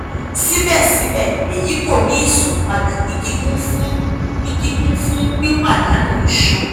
sibẹsibẹ eyi ko ni isanpada ni kikun fun ni kikun fun pipadanu iṣan